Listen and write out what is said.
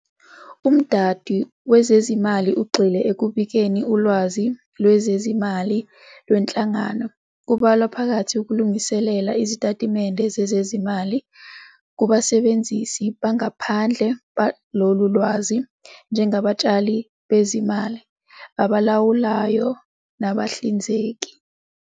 Umdando wezezimali ugxile ekubikeni ulwazi lwezezimali lwenhlangano, kubalwa phakathi ukulungiselela Izitatimende zezezimali, kubasebenzisi bangaphandle balolu lwazi, njengabatshali bezimali, abalawulayo nabahlinzeki.